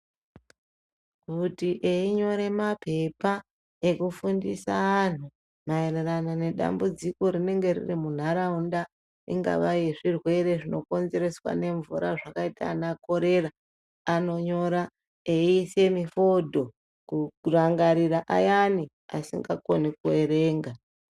Kuti einyore mapepa maererano yekufundisa anhu maererano nedambudziko rinenge riri munharaunda ringava rezvirwere zvinokonzereswa nemvura zvakaita ana korera anonyora eiisa mifodho kurangarira ayani asingakoni kuerenga.